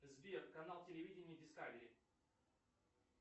сбер канал телевидения дискавери